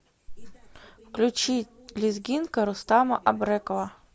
включи лезгинка рустама абрекова